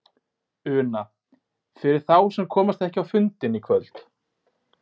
Una: Fyrir þá sem að komast ekki á fundinn í kvöld?